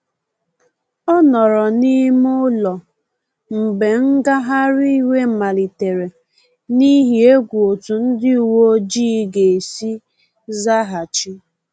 Ọ nọrọ n’ime ụlọ mgbe ngagharị iwe malitere, n’ihi egwu otú ndị uweojii ga-esi zaghachi